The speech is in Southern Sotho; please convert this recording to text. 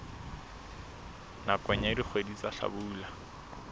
nakong ya dikgwedi tsa hlabula